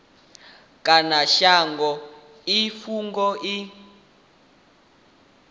kha shango i fhungo i